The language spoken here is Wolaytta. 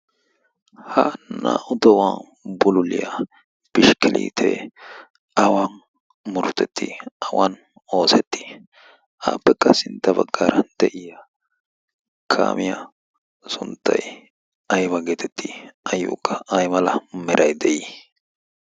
ha naa77u to7uwan bululiyaa pishkkeliitee awan murutettii awan oosettii? aappekka sintta baggaara de7iya kaamiyaa sunttai aiwa geetettii? ayyookka ai mala merai de7ii?